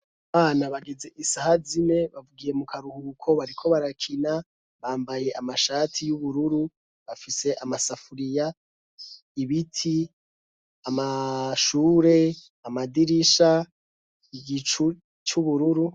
Abana bageze isaha zime, bagiye mu karuhuko bariko barakina, bambaye amashati y'ubururu, bafise amasafuriya, ibiti, amashure, amadirisha, igicu c'ubururu.